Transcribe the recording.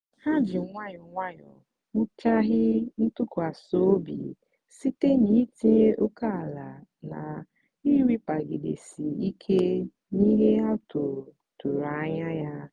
ha ji nwayọọ nwayọọ wughachi ntụkwasị obi site n'itinye ókèala na ịrapagidesi ike n'ihe a tụrụ tụrụ anya ya.